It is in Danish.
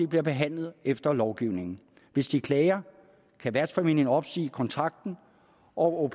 bliver behandlet efter lovgivningen hvis de klager kan værtsfamilien opsige kontrakten og